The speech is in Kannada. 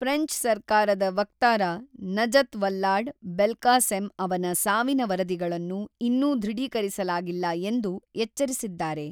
ಫ್ರೆಂಚ್ ಸರ್ಕಾರದ ವಕ್ತಾರ ನಜತ್ ವಲ್ಲಾಡ್-ಬೆಲ್ಕಾಸೆಮ್ ಅವನ ಸಾವಿನ ವರದಿಗಳನ್ನು ಇನ್ನೂ ದೃಢೀಕರಿಸಲಾಗಿಲ್ಲ ಎಂದು ಎಚ್ಚರಿಸಿದ್ದಾರೆ.